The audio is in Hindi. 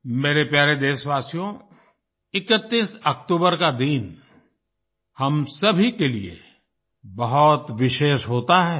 मेरे प्यारे देशवासियो 31 अक्टूबर का दिन हम सभी के लिए बहुत विशेष होता है